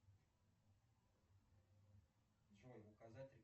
джой указатель